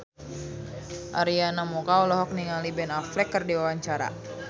Arina Mocca olohok ningali Ben Affleck keur diwawancara